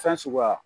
Fɛn suguya